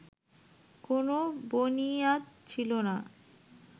কোন বনিয়াদ ছিল না